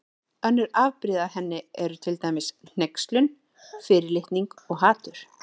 Önnur afbrigði af henni eru til dæmis hneykslun, fyrirlitning og hatur.